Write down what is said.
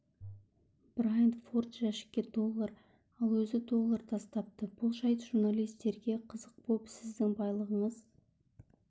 брайант форд жәшікке доллар ал өзі доллар тастапты бұл жайт журналистерге қызық боп сіздің байлығыңыз